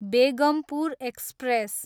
Begampur express